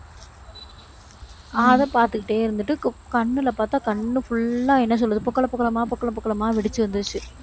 அதை பார்த்துக்கிட்டே இருந்துட்டு, க~ கண்ணுல பார்த்தா, கண்ணு full ஆ என்ன சொல்றது பொக்கள பொக்களமா, பொக்கள பொக்களமா வெடிச்சு வந்துருச்சு.